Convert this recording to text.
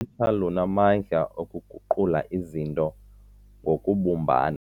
lunamandla okuguqula izinto ngokubumbana.